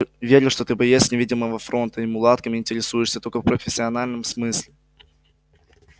верю что ты боец невидимого фронта и мулатками интересуешься только в профессиональном смысле